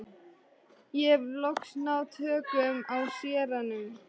Ég hef loks náð tökum á séranum.